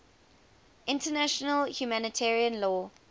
international humanitarian law